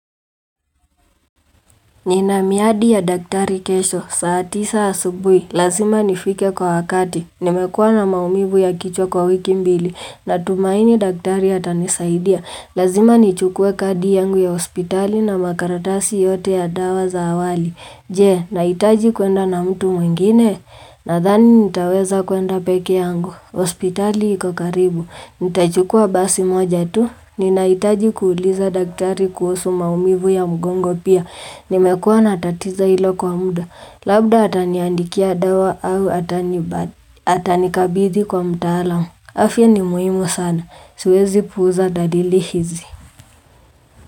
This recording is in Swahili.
Nina miadi ya daktari kesho, saa tisa asubuhi, lazima nifike kwa wakati, nimekuwa na maumivu ya kichwa kwa wiki mbili, natumaini daktari atanisaidia, lazima nichukue kadi yangu ya hospitali na makaratasi yote ya dawa za awali. Je, nahitaji kuenda na mtu mwingine, nathani nitaweza kuenda pekee yangu, hospitali iko karibu, nitachukua basi moja tu, ninahitaji kuuliza daktari kuhusu maumivu ya mgongo pia, nimekuwa na tatizo hilo kwa mda, labda ataniandikia dawa au atanibadi, atanikabidhi kwa mtaalam afya ni muhimu sana, siwezi puuza dalili hizi.